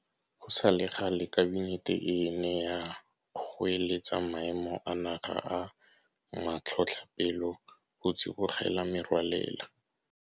Go sa le gale Kabinete e ne ya goeletsa Maemo a Naga a Matlhotlhapelo go tsibogela merwalela.